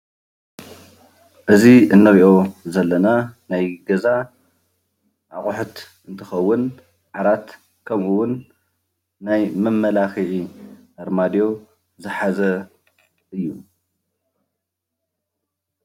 እዚ እንሪኦ ዘለና ናይ ገዛ አቁሑት እንትኸውን ዓራት ኸምኡ ውን ናይ መመላኽዒ ኣርማድዮ ዝሓዘ እዩ።